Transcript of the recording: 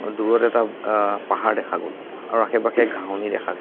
দূৰত এটা অ পাহাৰ দেখা গ'ল আৰু আশে-পাশে ঘাঁহনি দেখা গৈছ--